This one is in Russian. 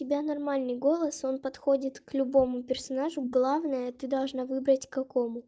тебя нормальный голос он подходит к любому персонажу главное ты должна выбрать какому